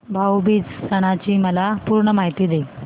भाऊ बीज सणाची मला पूर्ण माहिती दे